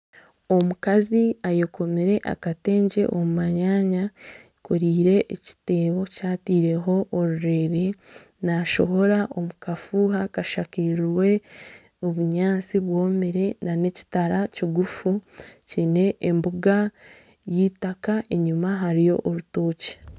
Omukazi ayekomire akatengye omu manyanya eyekoreire ekiteebo kyataireho orurere nashohora omu kafuuha kashakirwe obunyaatsi bwomire n'ekitara kigufu kiine embuga y'eitaaka enyuma hariyo orutookye.